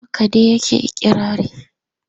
Haka dai yake ikirarin.